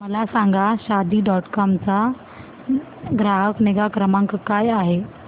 मला सांगा Shaadi dot com चा ग्राहक निगा क्रमांक काय आहे